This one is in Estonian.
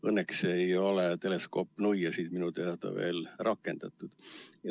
Õnneks ei ole teleskoopnuiasid minu teada veel rakendatud.